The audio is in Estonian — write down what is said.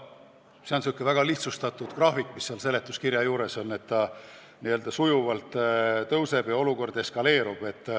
Seletuskirjas on säärane väga lihtsustatud graafik, kus joon sujuvalt tõuseb ehk olukord eskaleerub.